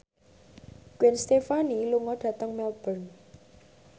Gwen Stefani lunga dhateng Melbourne